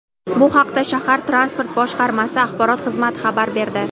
Bu haqda shahar Transport boshqarmasi axborot xizmati xabar berdi.